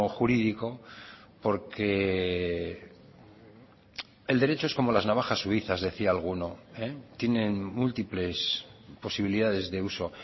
jurídico porque el derecho es como las navajas suizas decía alguno tienen múltiples posibilidades de uso